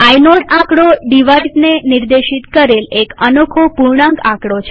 inode ડિવાઇઝને નિર્દેશિત કરેલ એક અનોખો પૂર્ણાંક આકડો છે